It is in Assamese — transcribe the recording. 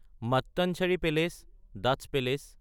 Mattancherry palace (Dutch palace)